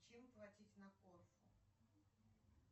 чем платить на корфу